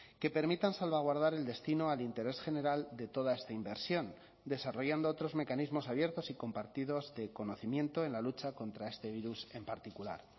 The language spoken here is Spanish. que permitan salvaguardar el destino al interés general de toda esta inversión desarrollando otros mecanismos abiertos y compartidos de conocimiento en la lucha contra este virus en particular